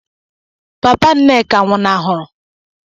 Papa Nneka nwụnahụrụ n